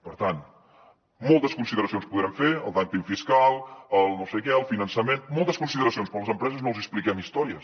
per tant moltes consideracions podrem fer el dúmping fiscal el no sé què el finançament moltes consideracions però a les empreses no els hi expliquem històries